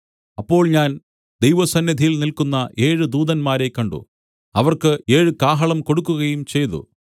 അപ്പോൾ ഞാൻ ദൈവസന്നിധിയിൽ നില്ക്കുന്ന ഏഴ് ദൂതന്മാരെ കണ്ട് അവർക്ക് ഏഴ് കാഹളം കൊടുക്കുകയും ചെയ്തു